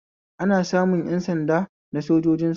Ana samun ƴan sanda na sojojin sama